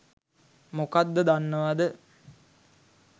මොකක්ද දන්නවද